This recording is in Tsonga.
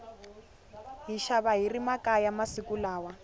hi xava hiri makaya masiku lawa